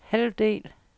halvdel